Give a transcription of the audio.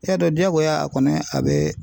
I y'a dɔn diyagoya a kɔni a bɛ